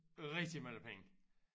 Rigtig mange penge